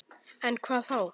En hvað þá?